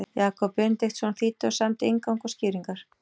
Jakob Benediktsson þýddi og samdi inngang og skýringar.